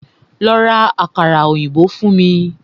Lọ́ rá àkàrà òyìnbó fún mí!